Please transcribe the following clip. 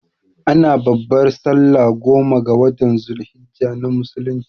Ana babbar sallah goma ga watan zul hijjah na musulunci